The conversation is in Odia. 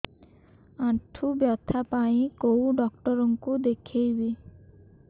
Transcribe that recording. ଆଣ୍ଠୁ ବ୍ୟଥା ପାଇଁ କୋଉ ଡକ୍ଟର ଙ୍କୁ ଦେଖେଇବି